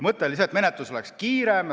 Mõte oli see, et menetlus oleks kiirem.